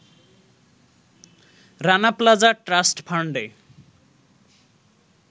Rana Plaza trust ফান্ডে